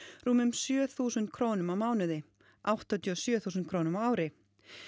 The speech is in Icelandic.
rúmum sjö þúsund krónum á mánuði áttatíu og sjö þúsund krónum á ári